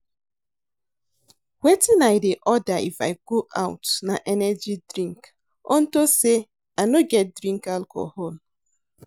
Wetin I dey order if I go out na energy drink unto say I no get drink alcohol